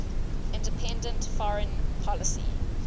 independent foreign policy